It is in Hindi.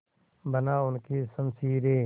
बना उनकी शमशीरें